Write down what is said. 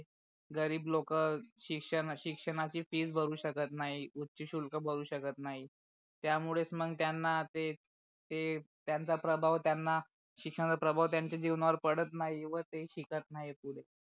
गरीब लोक शिक्षणा शिक्षणाची फी भरू शकत नाही उच्च शुल्क भरू शकत नाहीत्यामुळे मग त्यांना ते ते त्यांच्या प्रभाव त्यांना शिक्षणाचा प्रभाव त्यांच्या जिवणा वर पडत नाही व ते शिकत नाही पुडे